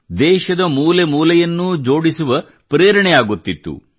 ದೇಶದ ಮೂಲೆ ಮೂಲೆಯನ್ನೂ ಜೋಡಿಸುವ ಪ್ರೇರಣೆ ಆಗುತ್ತಿತ್ತು